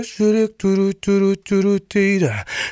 жүрек дурут дурут дурут дейді